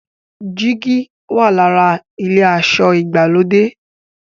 jìgì wà l'ára ilé aṣọ ìgbàlódé.